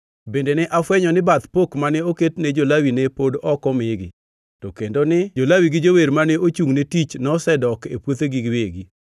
Bende ne afwenyo ni bath pok mane oket ne jo-Lawi ne pod ok omigi, to kendo ni jo-Lawi gi jower mane ochungʼ ne tich nosedok e puothegi giwegi.